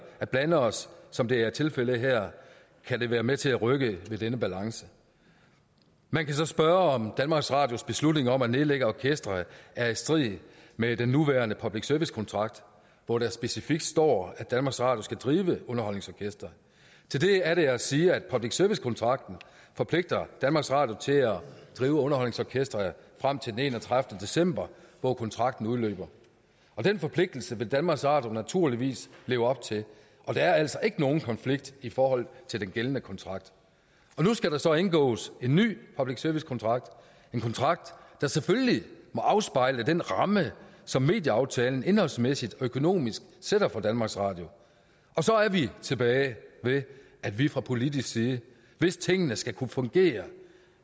at blande os som det er tilfældet her kan det være med til at rykke ved denne balance man kan så spørge om danmarks radios beslutning om at nedlægge orkestret er i strid med den nuværende public service kontrakt hvor der specifikt står at danmarks radio skal drive et underholdningsorkester til det er der at sige at public service kontrakten forpligter danmarks radio til at drive underholdningsorkestret frem til den enogtredivete december hvor kontrakten udløber og den forpligtelse vil danmarks radio naturligvis leve op til der er altså ikke nogen konflikt i forhold til den gældende kontrakt nu skal der så indgås en ny public service kontrakt en kontrakt der selvfølgelig må afspejle den ramme som medieaftalen indholdsmæssigt og økonomisk sætter for danmarks radio og så er vi tilbage ved at vi fra politisk side hvis tingene skal kunne fungere